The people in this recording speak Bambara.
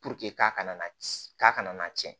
k'a kana k'a kana na tiɲɛ